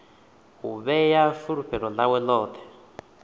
u vhea fulufhelo ḽawe ḽoṱhe